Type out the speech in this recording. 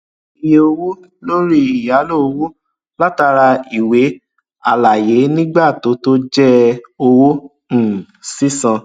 iye owó lórí ìyálò owó látara ìwé àlàyé nígbà tó tó jẹ owó um sísan